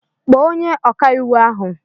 Kpọọ onye ọkàiwu ahụ!